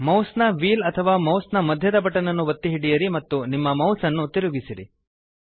ಮೌಸ್ನ ವೀಲ್ ಅಥವಾ ಮೌಸ್ ನ ಮಧ್ಯದ ಬಟನ್ ನ್ನು ಒತ್ತಿ ಹಿಡಿಯಿರಿ ಮತ್ತು ನಿಮ್ಮ ಮೌಸ್ ನ್ನು ತಿರುಗಿಸಿರಿ